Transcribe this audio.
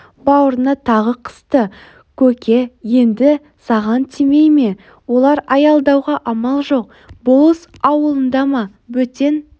бауырына тағы қысты көке енді саған тимей ме олар аялдауға амал жоқ болыс ауылында ма бөтен